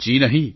જી નહીં